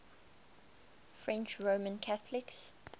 french roman catholics